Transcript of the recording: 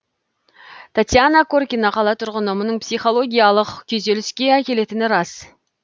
татьяна коркина қала тұрғыны мұның психологиялық күйзеліске әкелетіні рас